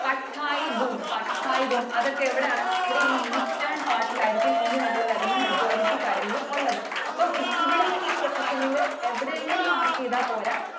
Patkai Bum. Patkai Bum. അതൊക്കെ എവിടെയാണ്? നമ്മുടെ ഈ Eastern part ൽ ആയിരിക്കും ഇനി നമ്മൾ വരുന്ന majority കാര്യങ്ങളും ഉള്ളത്. അപ്പൊ ഈ ഇവിടന്ന് ഈ position ൽ എവിടെയെങ്കിലും mark ചെയ്‌താൽ പോര